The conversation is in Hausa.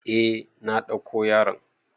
Eh na ɗauko yaron.